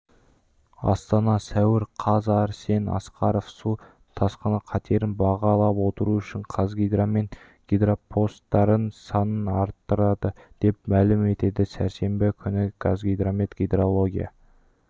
астана сәуір қаз арсен асқаров су тасқыны қатерін бағалапотыру үшін қазгидромет гидропостардың санын арттырады деп мәлім етті сәрсенбі күні қазгидромет гидрология